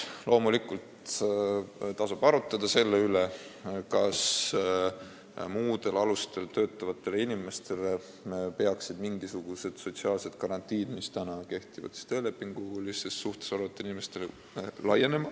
Loomulikult tasub arutada selle üle, kas muudel alustel töötavatele inimestele peaksid laienema mingisugused sotsiaalsed garantiid, mis on töölepingulises suhtes olevatel inimestel.